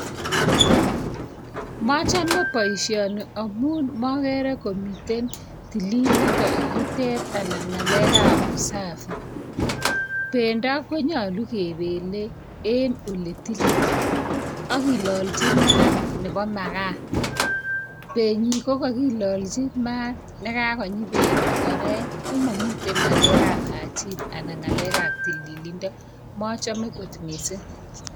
Mochome boishoni amun mogere komii tililindoo yutet, anan ng'alekab usafi. Bendo konyolu kebele en ole tilil, ak kilolchii maat Nebo magaa. Benyi kokakilolchi maat nekakonyii bendoo oorek. Komomiten ngalekab tililindo, komochome kot missing.